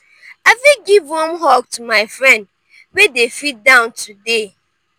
i fit give warm hug to my friend wey dey feel down today.